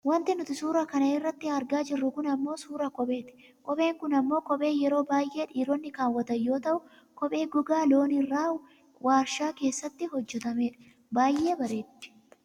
Wanti nuti suuraa kana irratti argaa jirru kun ammoo suuraa kopheeti. Kopheen kun ammoo kophee yeroo baayyee dhiironni kaawwatan yoo taatu kophee gogaa loonii irraa waarshaa keessaatti hojjatamtedha. Baayyee bareeddi.